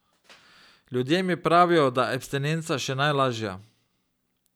Ljudje mi pravijo, da je abstinenca še najlažja.